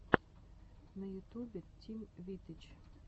на ютубе тим вит ы ч